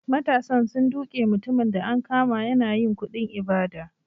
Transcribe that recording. Matasan sun duke mutumin da an kama yana yin kuɗin ibada.